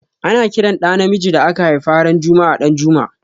Ana ƙiran ɗa namijin da aka haifa ran juma'a Danjuma.